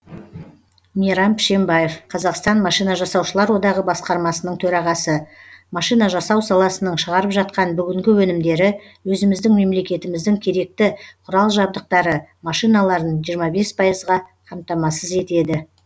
мейрам пшембаев қазақстан машина жасаушылар одағы басқармасының төрағасы машина жасау саласының шығарып жатқан бүгінгі өнімдері өзіміздің мемлекетіміздің керекті құрал жабдықтары машиналарын жиырма бес пайызға қамтамасыз етеді